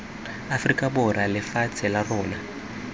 aforika borwa lefatshe la rona